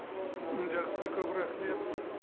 м жақсы көп рахмет